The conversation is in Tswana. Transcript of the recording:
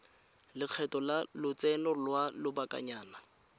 lekgetho la lotseno lwa lobakanyana